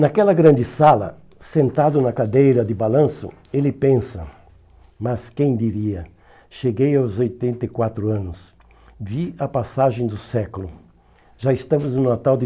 Naquela grande sala, sentado na cadeira de balanço, ele pensa, mas quem diria, cheguei aos oitenta e quatro anos, vi a passagem do século, já estamos no Natal de